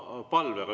Oma palvega.